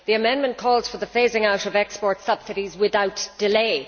The amendment calls for the phasing out of export subsidies without delay.